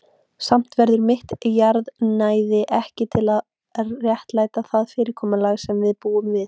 Samt verður mitt jarðnæði ekki til að réttlæta það fyrirkomulag sem við búum við.